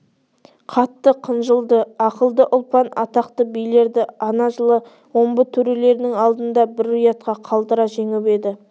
қатты қынжылды ақылды ұлпан атақты билерді ана жылы омбы төрелерінің алдында бір ұятқа қалдыра жеңіп еді